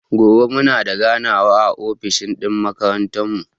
Gobe muna da ganawa a ofis ɗin makarantan mu.